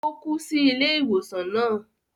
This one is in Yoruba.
O kú sí ilé ìwòsàn náà